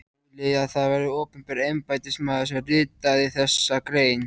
Hugleiðið að það var opinber embættismaður sem ritaði þessa grein.